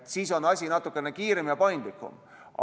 Siis on asi natukene kiirem ja paindlikum.